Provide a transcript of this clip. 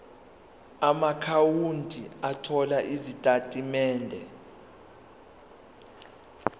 amaakhawunti othola izitatimende